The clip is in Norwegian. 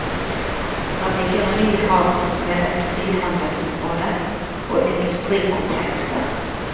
Der ligger en ny havn med et frihandelsområde og industrikomplekser.